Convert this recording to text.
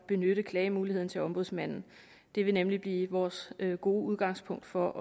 benytte klagemuligheden til ombudsmanden det vil nemlig blive vores gode udgangspunkt for